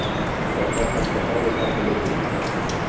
Hvers vegna er þetta svæði gott til uppbyggingar?